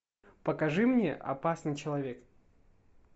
покажи мне опасный человек